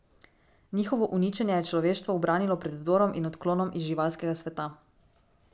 Njihovo uničenje je človeštvo ubranilo pred vdorom in odklonom iz živalskega sveta.